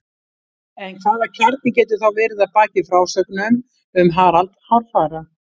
En hvaða kjarni getur þá verið að baki frásögnum um Harald hárfagra?